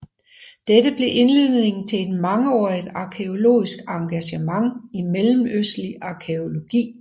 Dette blev indledningen til et mangeårigt arkæologisk engagement i mellemøstlig arkæologi